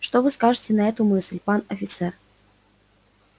что вы скажете на эту мысль пан офицер